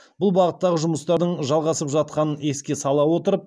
бұл бағыттағы жұмыстардың жалғасып жатқанын еске сала отырып